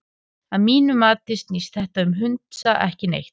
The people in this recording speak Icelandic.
Að mínu mati snýst þetta um hundsa ekki neitt.